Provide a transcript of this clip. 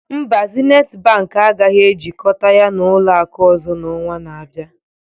Mba, Zenith Bank agaghị ejikọta ya na ụlọ akụ ọzọ n'ọnwa na-abịa